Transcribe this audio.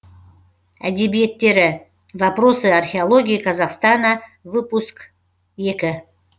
әдебиеттері вопросы археологии казахстана выпуск екі